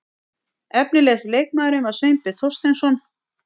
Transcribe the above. Efnilegasti leikmaðurinn var Sveinbjörn Þorsteinsson.